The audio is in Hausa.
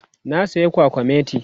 na saya kwakwamati